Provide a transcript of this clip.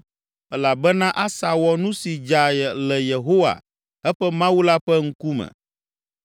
elabena Asa wɔ nu si dza le Yehowa, eƒe Mawu la ƒe ŋkume.